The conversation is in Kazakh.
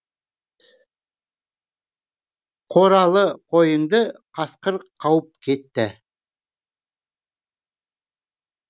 қоралы койыңды қасқыр қауып кетті